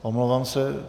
Omlouvám se.